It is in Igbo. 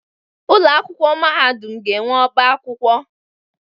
Ụlọ akwụkwọ mahadum ga-enwe ọbá akwụkwọ.